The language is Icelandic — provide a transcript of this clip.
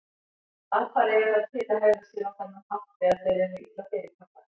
Apar eiga það til að hegða sér á þennan hátt þegar þeir eru illa fyrirkallaðir.